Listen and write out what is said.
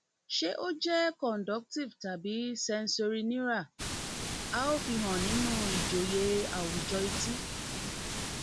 ṣé ó jẹ conductive tàbí sensorineural a ó fi han nínú ìjọyé àwùjọ etí